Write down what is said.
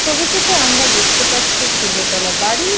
ছবিটিতে আমরা দেখতে পাচ্ছি একটা দোতলা বাড়ি-ই।